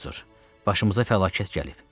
Artur, başımıza fəlakət gəlib.